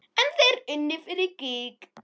En þeir unnu fyrir gýg.